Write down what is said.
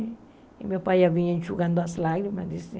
E meu pai já vinha enxugando as lágrimas, disse.